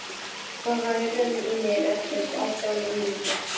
Þoka, heyrðu í mér eftir átján mínútur.